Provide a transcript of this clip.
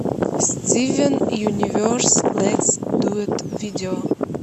стивен юниверс летс дуэт видео